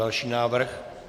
Další návrh.